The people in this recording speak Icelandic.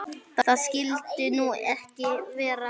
Það skyldi nú ekki vera?